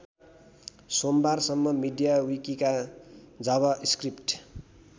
सोमबारसम्म मीडियाविकिका जाभास्क्रिप्ट